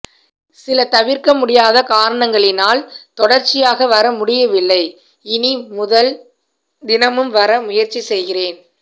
சில தவிர்க்க முடியாத காரணங்களினால் தொடர்ச்சியாக வர முடியவில்லை இனி முதல் தினமும் வர முயற்சி செய்கிறேன்